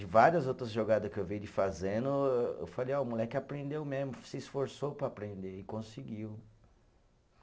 E várias outras jogada que eu vi ele fazendo, eu falei, ó, o moleque aprendeu mesmo, se esforçou para aprender e conseguiu.